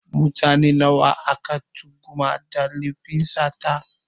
Mutane nawa ake tuhuma da lefin sata?